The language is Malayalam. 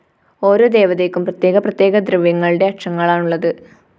ഓരോ ദേവതയ്ക്കും പ്രതേ്യക പ്രതേ്യക ദ്രവ്യങ്ങളുടെ അക്ഷങ്ങളാണു ഉള്ളത്